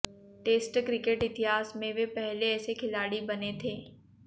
test cricket इतिहास में वे पहले ऐसे खिलाड़ी बने थे